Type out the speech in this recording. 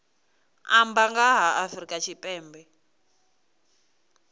amba nga ha afrika tshipembe